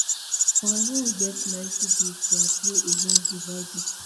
quarong get ninety days to appeal against di verdict